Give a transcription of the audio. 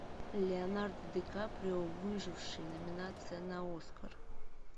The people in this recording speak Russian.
леонардо ди каприо выживший номинация на оскар